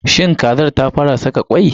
Shin kazar ta fa ra saka kwai?